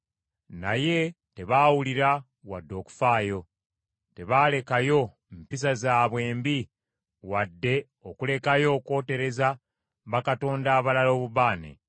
Naye tebaawulira wadde okufaayo; tebaalekayo mpisa zaabwe embi wadde okulekayo okwotereza bakatonda abalala obubaane.